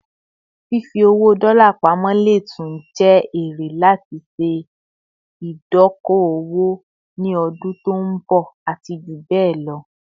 Fifi owó dola pamo lè tún jé ère láti ṣe idoko - owó ni ọdún tọ nbo àti jubẹlọ